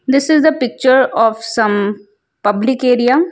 This is a picture of some public area.